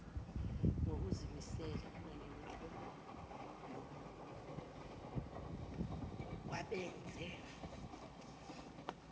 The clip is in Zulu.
ngokuzimisela nemiklomelo kwabenze